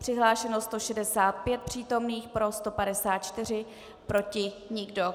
Přihlášeno 165 přítomných, pro 154, proti nikdo.